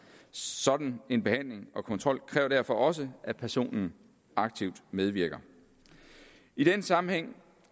sådan en behandling og kontrol kræver derfor også at personen aktivt medvirker i den sammenhæng